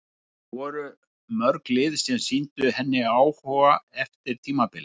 En voru mörg lið sem sýndu henni áhuga eftir tímabilið?